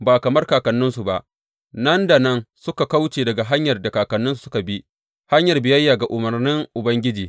Ba kamar kakanninsu ba, nan da nan suka kauce daga hanyar da kakanninsu suka bi, hanyar biyayya ga umarnan Ubangiji.